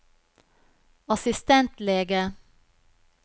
assistentlege